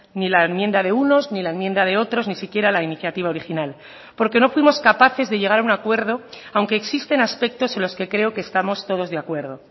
ni la enmienda de unos ni la enmienda de otros ni siquiera la iniciativa original porque no fuimos capaces de llegar a un acuerdo aunque existen aspectos en los que creo que estamos todos de acuerdo